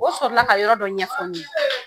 O sɔrɔ la ka yɔrɔ dɔ ɲɛfɔ n ye.